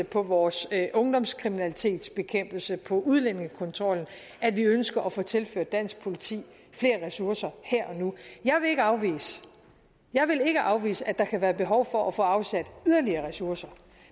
på vores ungdomskriminalitetsbekæmpelse på udlændingekontrollen at vi ønsker at få tilført dansk politi flere ressourcer her og nu jeg vil ikke afvise at der kan være behov for at få afsat yderligere ressourcer